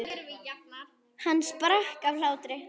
Hann sprakk af hlátri.